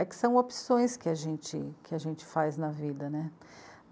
É que são opções que a gente, que a gente faz na vida.